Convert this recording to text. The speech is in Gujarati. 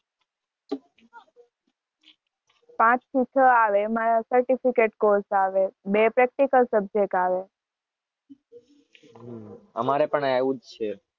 પાંચ થી છ આવે એમાં એક જ કોર્સ આવે બે પ્રેક્ટિકલ સબ્જેક્ટ અવે.